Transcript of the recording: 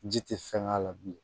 Ji tɛ fɛn k'a la bilen